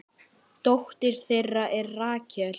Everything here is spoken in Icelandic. Dóttir þeirra er Rakel.